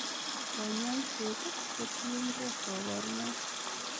Konyoiset kotiengei koborunoik.